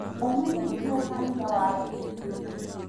Ciana nĩcio kanitha wa rũciũ